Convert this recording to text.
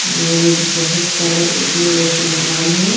और बहोत सारे उसमे रोशनदान है।